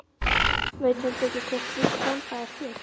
Veit heldur ekki hvort slík þemba er til.